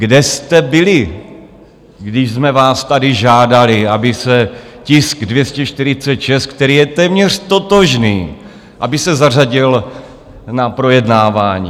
Kde jste byli, když jsme vás tady žádali, aby se tisk 246, který je téměř totožný, aby se zařadil na projednávání?